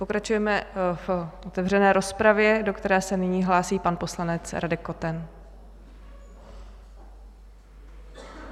Pokračujeme v otevřené rozpravě, do které se nyní hlásí pan poslanec Radek Koten.